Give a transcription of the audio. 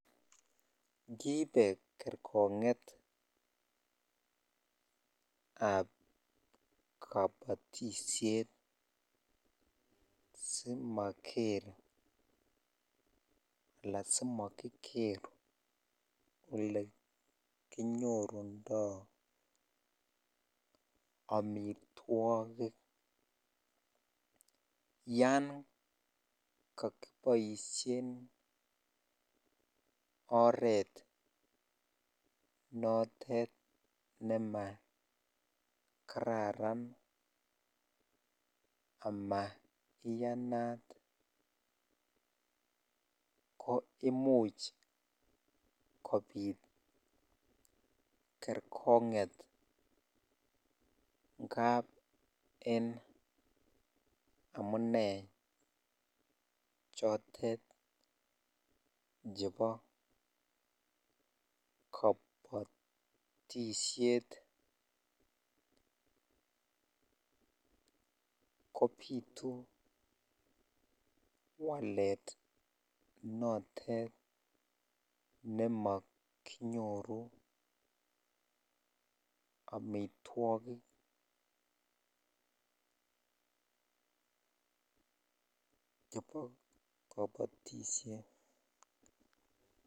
Kiipe kerkongetab kabotishet simaker alaan simokiker olenyorundo amitwokik yoon kokiboishen oreet notet nemakararan amaa iyanat ko imuch kobit kerkonget ngab en amune chotet chebo kobotishet kobitu walet notet nemokinyoru amitwokik chebo kobotishet.